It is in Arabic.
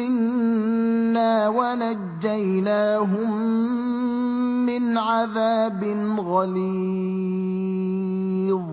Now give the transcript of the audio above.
مِّنَّا وَنَجَّيْنَاهُم مِّنْ عَذَابٍ غَلِيظٍ